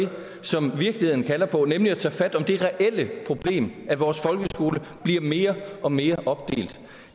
som virkeligheden kalder på nemlig at tage fat om det reelle problem at vores folkeskole bliver mere og mere opdelt